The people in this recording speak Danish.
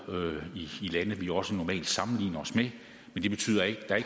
i lande vi også normalt sammenligner os med men det betyder ikke at